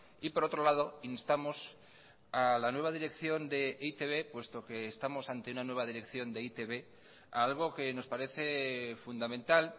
y por otro lado instamos a la nueva dirección de e i te be puesto que estamos ante una nueva dirección de e i te be a algo que nos parece fundamental